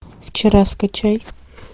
вчера скачай